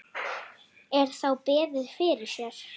Er þá beðið fyrir sér.